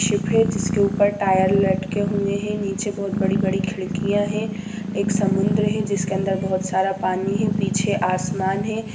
-- Ship है जिसके ऊपर टायर लटके हुये है नीचे बहुत बड़ी बड़ी खिड़किया है एक समुन्द्र है जिसके अंदर बहुत सारा पानी है पीछे आसमान है।